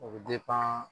O bɛ